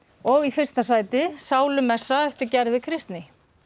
og í fyrsta sæti sálumessa eftir Gerði Kristný